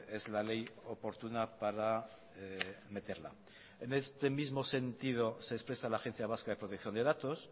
es la ley oportuna para meterla en este mismo sentido se expresa la agencia vasca de protección de datos